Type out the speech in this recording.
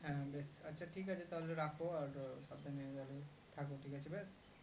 হ্যাঁ বেশ আচ্ছা ঠিক আছে তাহলে রাখো আর সাবধানে যাবে থাকো ঠিক আছে বেশ